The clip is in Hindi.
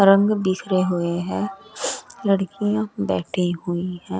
रंग बिखरे हुए हैं लड़कियां बैठी हुई है।